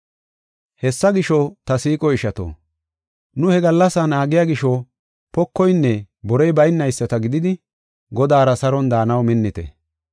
Hessa gisho, ta siiqo ishato, nu he gallasaa naagiya gisho pokoynne borey baynayisata gididi, Godaara saron daanaw minnite.